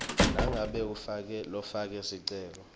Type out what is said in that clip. nangabe lofake sicelo